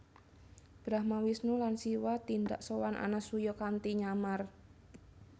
Brahma Wisnu lan Siwa tindak sowan Anasuya kanthi nyamar